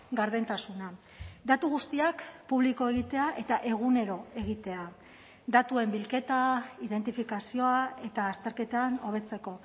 gardentasuna datu guztiak publiko egitea eta egunero egitea datuen bilketa identifikazioa eta azterketan hobetzeko